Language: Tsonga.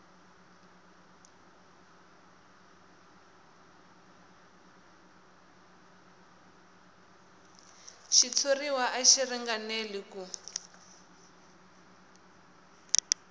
xitshuriwa a xi ringanelangi ku